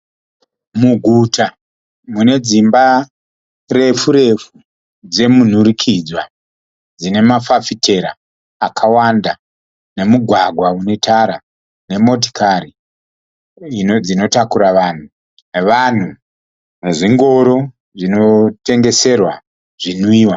Muguta mune dzimba refu- refu dze munhurikidzwa. Dzine mafafitera akawanda nemugwagwa une tara. Nemotokari dzinotakura vanhu, nevanhu, nezvingoro zvino tengeserwa zvinwiwa.